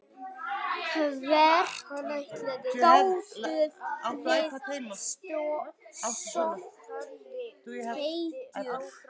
Hvert gátuð þið sótt tekjur?